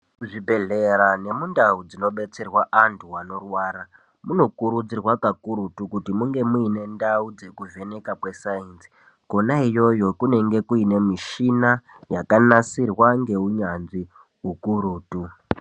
Zvibhehlera nemundau dzinodetserwa antu anorwara munokurudzirwa kakurutu kuti munge muine ndau dzekuvheneka kwesaienzi konaiyoyo kunenge kune muchina yakanasirwa ngeunyanzvi ukurutu.